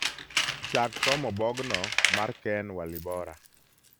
chak somo bogno mar ken walibora